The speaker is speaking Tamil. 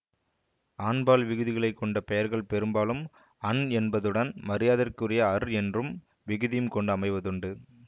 ஆண்பால் விகுதிகளைக் கொண்ட பெயர்கள் பெரும்பாலும் அன் என்பதுடன் மரியாதர்க்குரிய அர் என்னும் விகுதியும் கொண்டு அமைவதுண்டு